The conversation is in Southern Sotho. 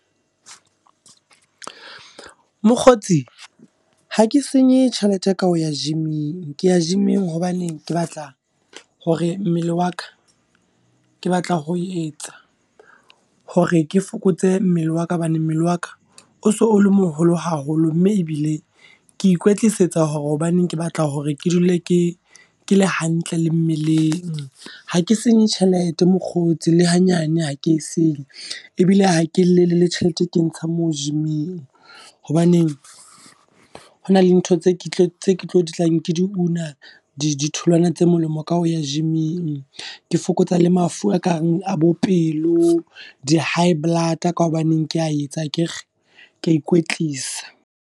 Mokgotsi, ha ke senye tjhelete ka ho ya gym-ing. Ke ya gym-ing hobaneng ke batla hore mmele wa ka, ke batla ho etsa hore ke fokotse mmele wa ka. Hobane mmele wa ka o so o le moholo haholo, mme ebile ke ikwetlisetsa hore hobaneng ke batla hore ke dule ke ke le hantle le mmeleng. Ha ke senye tjhelete mokgotsi le ha nyane ha ke senye. E bile ha ke e llele le tjhelete eo hangmoo gyming. Hobaneng hona le ntho tse tlang ke di una, di tholwana tse molemo ka ho ya gym-ing. Ke fokotsa le mafu a kareng a bo pelo, di high blood ka hobaneng ke a etsa akere, ke a ikwetlisa.